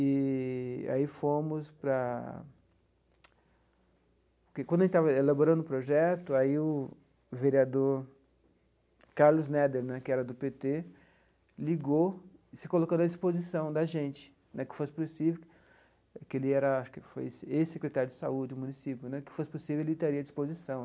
Eee e aí fomos para... Que quando a gente estava elaborando o projeto, aí o o vereador Carlos Neder né, que era do pê tê, ligou, se colocando à disposição da gente né, que fosse possível, que ele era, acho que foi ex-secretário de saúde do município né, que fosse possível ele estaria à disposição.